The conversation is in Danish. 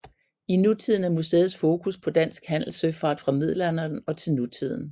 I nutiden er museets fokus på dansk handelssøfart fra middelalderen og til nutiden